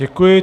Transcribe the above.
Děkuji.